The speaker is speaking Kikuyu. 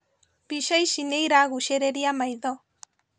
Mbica ici nĩiragucĩrĩria maitho